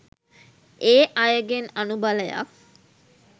ඒ අයගෙන් අනුබලයක්